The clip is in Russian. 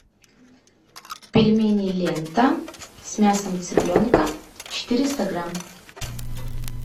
пельмени лента с мясом цыпленка четыреста грамм